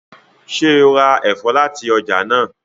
ṣe rá èfó láti ọjà náa?